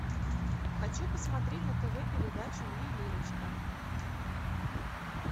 хочу посмотреть на тв передачу ювелирочка